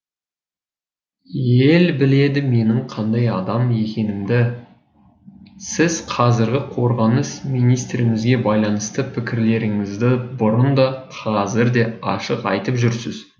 ел біледі менің қандай адам екенімді сіз қазіргі қорғаныс министрімізге байланысты пікірлеріңізді бұрын да қазір де ашық айтып жүрсіз